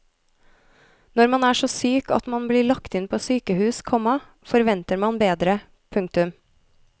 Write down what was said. Når man er så syk at man blir lagt inn på sykehus, komma forventer man bedre. punktum